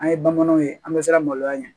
An ye bamananw ye an bɛ siran maloya ɲɛ